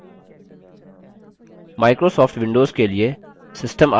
microsoft windows के लिए system आवश्यकताएँ निम्न हैं